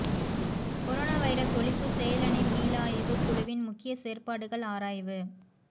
corona virus ஒழிப்பு செயலணி மீளாய்வுக் குழுவின் முக்கிய செயற்பாடுகள் ஆராய்வு